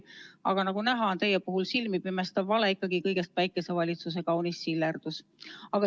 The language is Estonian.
Aga nagu näha, on teie puhul silmipimestav vale ikkagi kõigest päikesevalitsuse kaunis sillerdus.